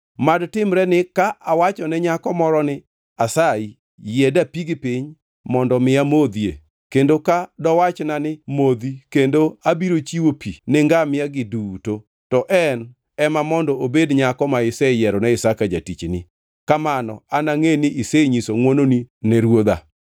Mad timreni ka awachone nyako moro ni, ‘Asayi, yie dapigi piny mondo mi amodhie,’ kendo ka dowachna ni, ‘modhi kendo abiro chiwo pi ni ngamia-gi duto’ to en ema mondo obed nyako ma iseyierone Isaka jatichni. Kamano anangʼe ni isenyiso ngʼwononi ne ruodha.”